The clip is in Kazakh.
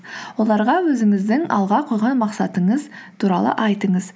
оларға өзіңіздің алға қойған мақсатыңыз туралы айтыңыз